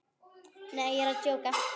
Nei, ég er að djóka.